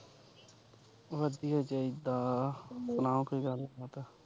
ਵਧੀਆ ਚਾਹੀਦਾ, ਸੁਣਾਉ ਕੋਈ ਗੱਲਬਾਤ।